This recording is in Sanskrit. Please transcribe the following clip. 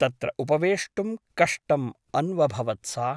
तत्र उपवेष्टुं कष्टम् अन्वभवत् सा ।